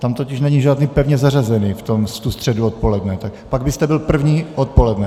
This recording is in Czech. Tam totiž není žádný pevně zařazený, v tu středu odpoledne, tak pak byste byl první odpoledne.